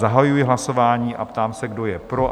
Zahajuji hlasování a ptám se, kdo je pro?